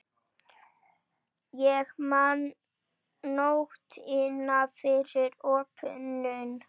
Ég man nóttina fyrir opnun.